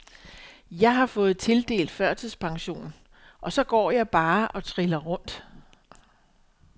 Jeg har fået tildelt førtidspension, og så går jeg bare og triller rundt.